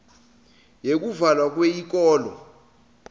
yekuvalwa kweyikolo